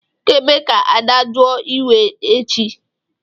Ị ga-eme ga-adajụọ iwe chi!